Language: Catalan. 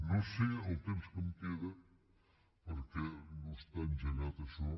no sé el temps que em queda perquè no està engegat això